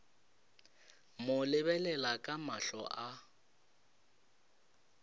mo lebelela ka mahlo a